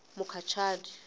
mukhacani